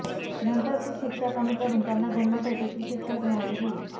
नंतर ती शिक्षा कमी करून त्यांना जन्मठेपेची शिक्षा सुनावली गेली